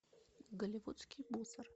голливудский мусор